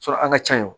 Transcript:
an ka ca ye